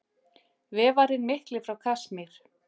Vefarinn mikli frá Kasmír.